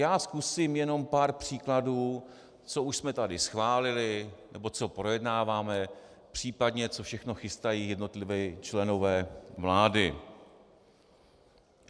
Já zkusím jenom pár příkladů, co už jsme tady schválili nebo co projednáváme, případně co všechno chystají jednotliví členové vlády.